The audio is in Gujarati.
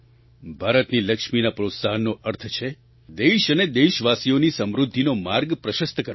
ભારતની લક્ષ્મીના પ્રોત્સાહનનો અર્થ છે દેશ અને દેશવાસીઓની સમૃદ્ધિનો માર્ગ પ્રશસ્ત કરવો